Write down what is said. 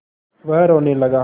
वह रोने लगा